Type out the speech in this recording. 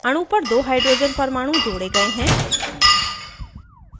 अणु पर दो hydrogen परमाणु जोड़े गए हैं